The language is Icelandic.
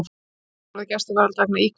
Skilorð og gæsluvarðhald vegna íkveikju